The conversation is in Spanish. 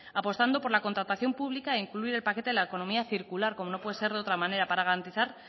apostando por la contratación pública e incluir el paquete de la economía circular como no puede ser de otra manera para garantizar